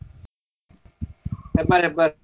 Hebbar Hebbar.